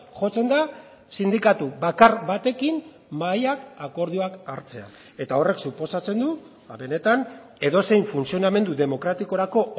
jotzen da sindikatu bakar batekin mahaiak akordioak hartzea eta horrek suposatzen du benetan edozein funtzionamendu demokratikorako